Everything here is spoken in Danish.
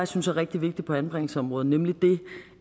synes er rigtig vigtigt på anbringelsesområdet nemlig